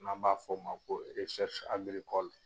N'an b'a fɔ o ma ko